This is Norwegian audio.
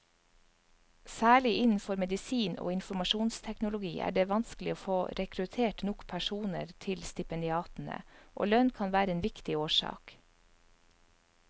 Særlig innenfor medisin og informasjonsteknologi er det vanskelig å få rekruttert nok personer til stipendiatene, og lønn kan være en viktig årsak.